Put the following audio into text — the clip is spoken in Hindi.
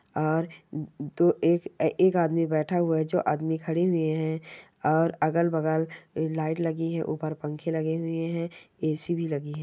और तो एक एक बैठा हुआ है जो आदमी खड़े हुए है और अगल बगल लाइट लगी है ऊपर पंखे लगे हुए है ए_सी भी लगी है।